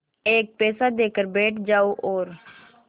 एक पैसा देकर बैठ जाओ और